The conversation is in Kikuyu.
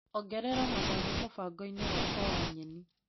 Ongerera matharũ mũbango-inĩ wakwa wa nyeni.